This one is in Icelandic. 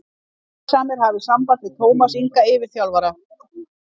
Áhugasamir hafi samband við Tómas Inga yfirþjálfara.